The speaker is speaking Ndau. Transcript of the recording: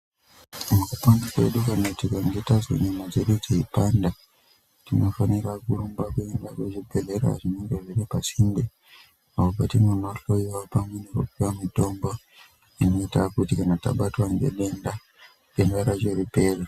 Mukupona kwedu kana tikange tazwa nyama dzedu dzeipanda tinofanira kurumba kuenda kuzvibhedhleya zvinenge zviri pasinde uko kwatinonohloiwa pamwe nekupuwa mitombo inoita kuti kana tabatwa ngedenda denda racho ripere.